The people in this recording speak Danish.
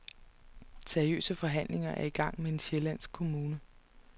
Seriøse forhandlinger er i gang med en sjællandsk kommune.